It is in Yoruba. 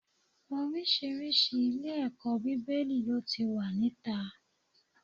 Oríṣiríṣi ilé-ẹ̀kọ́ Bíbélì ló ti wà níta.